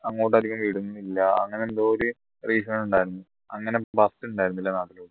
അങ്ങോട്ട് അധികം വരുന്നില്ല അങ്ങനെ എന്തോ ഒരു reason ഉണ്ടായിരുന്നു അങ്ങനെ bus ഉണ്ടായിരുന്നില്ല